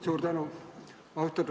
Suur tänu!